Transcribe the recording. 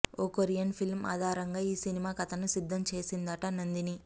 ఓ Korean film ఆధారంగా ఈ cinema కథను సిద్ధం చేసిందట నందిని